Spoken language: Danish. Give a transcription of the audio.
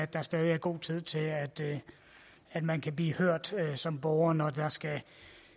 der stadig er god tid til at man kan blive hørt som borger når der skal